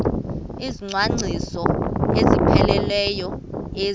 izicwangciso ezipheleleyo ezi